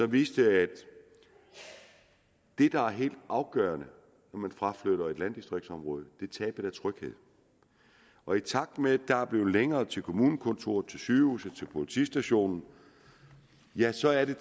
viste at det der er helt afgørende når man fraflytter et landdistriktsområde er tabet af tryghed og i takt med at der er blevet længere til kommunekontoret til sygehuset til politistationen ja så er der